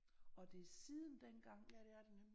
Og det er siden dengang